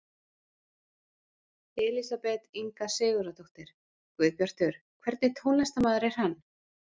Elísabet Inga Sigurðardóttir: Guðbjartur, hvernig tónlistarmaður er hann?